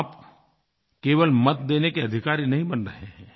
आप केवल मत देने के अधिकारी नहीं बन रहे हैं